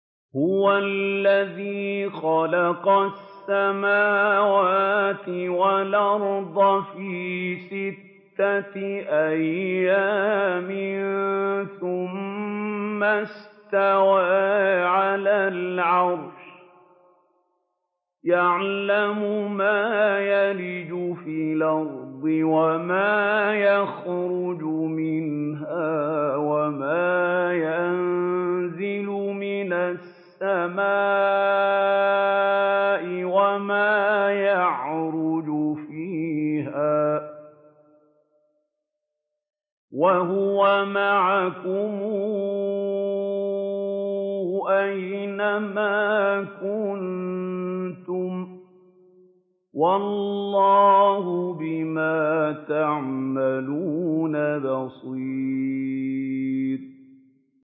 هُوَ الَّذِي خَلَقَ السَّمَاوَاتِ وَالْأَرْضَ فِي سِتَّةِ أَيَّامٍ ثُمَّ اسْتَوَىٰ عَلَى الْعَرْشِ ۚ يَعْلَمُ مَا يَلِجُ فِي الْأَرْضِ وَمَا يَخْرُجُ مِنْهَا وَمَا يَنزِلُ مِنَ السَّمَاءِ وَمَا يَعْرُجُ فِيهَا ۖ وَهُوَ مَعَكُمْ أَيْنَ مَا كُنتُمْ ۚ وَاللَّهُ بِمَا تَعْمَلُونَ بَصِيرٌ